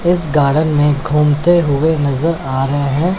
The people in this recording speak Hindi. इस गार्डन में घूमते हुए नजर आ रहे हैं।